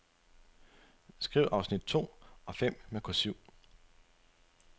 Skriv afsnit to og fem med kursiv.